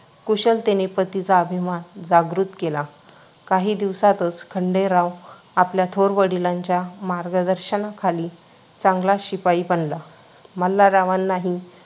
कुशलतेने पतीचा अभिमान जागृत केला. काही दिवसातच खंडेराव आपल्या थोर वडिलांच्या मार्गदर्शनाखाली चांगला शिपाई बनला. मल्हाररावांनाही